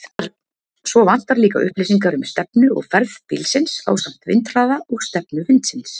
Svo vantar líka upplýsingar um stefnu og ferð bílsins ásamt vindhraða og stefnu vindsins.